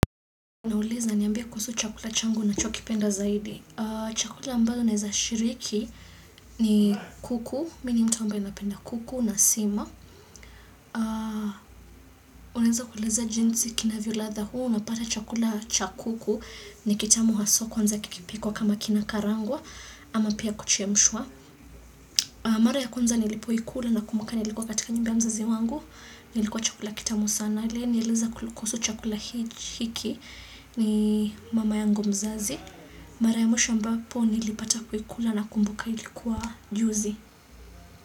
Nauliza niambie kuhusu chakula changu ninachokipenda zaidi. Chakula ambayo naeza shiriki ni kuku. Mimi ni mtu ambaye napenda kuku na sima. Uneza kueleza jinsi kinavyo ladha huu. Unapata chakula cha kuku ni kitamu hasa kwanza kikipikwa kama kinakarangwa. Ama pia kuchemshwa. Mara ya kwanza nilipoikula nakumbuka nilikuwa katika nyumba ya mzazi wangu. Kilikuwa chakula kitamu sana. Na aliyenieleza kuhusu chakula hiki ni mama yangu mzazi. Mara ya mwisho ambapo nilipata kuikula nakumbuka ilikuwa juzi.